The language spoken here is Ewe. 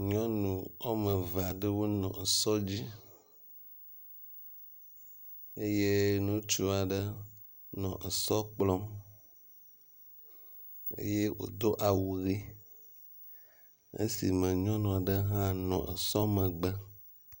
Nyɔnu wome eve aɖe nɔ sɔ dzi eye ŋutsu aɖe nɔ esɔ kplɔm eye wodo awu ʋi esi me nyɔnu aɖe hã nɔ sɔ megbe.